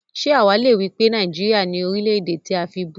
Ṣé àwá le wípé Nàìjíríà ni Orílè-èdè tí a fibú?